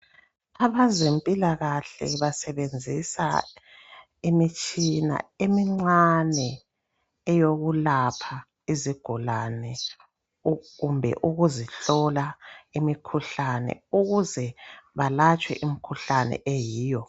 Abezempilakahle basebenzisa imitshina emincane eyokulapha izigulane kumbe ukuzihlola imikhuhlane ukuze balatshwe imikhuhlane eyiyo.